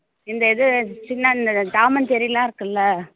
இந்த இது Tom and செர்ரிலாம் இருக்குதுல்ல